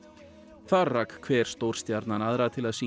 þar rak hver stjórstjarnan aðra til að syngja